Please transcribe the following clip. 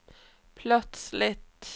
plötsligt